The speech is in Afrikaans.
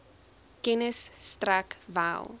kennis strek wel